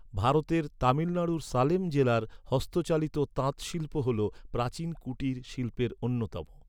ভারতের তামিলনাড়ুর সালেম জেলার হস্তচালিত তাঁত শিল্প হল প্রাচীন কুটির শিল্পের অন্যতম।